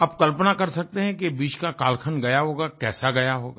आप कल्पना कर सकते हैं कि ये बीच का कालखण्ड गया होगा कैसा गया होगा